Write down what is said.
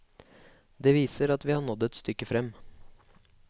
Det viser at vi har nådd et stykke frem.